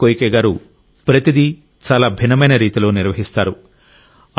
Hiroshi Koike గారు ప్రతిదీ చాలా భిన్నమైన రీతిలో నిర్వహిస్తారు